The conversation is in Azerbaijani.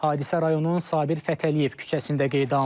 Hadisə rayonun Sabir Fətəliyev küçəsində qeydə alınıb.